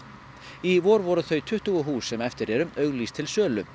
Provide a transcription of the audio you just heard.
í vor voru þau tuttugu hús sem eftir eru auglýst til sölu